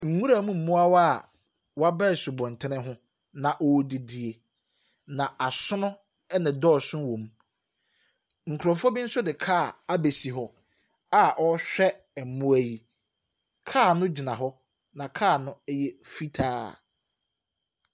Nwuramu moawaa w'aba ɛsubonten ho na ɔredidie na asono ɛnɛdosoo wɔm. Nkorɔfoɔ bi nso de car abesi hɔ a ɔrehwɛ mmoa yi. Car no gyina hɔ na car no ɛyɛ fitaa.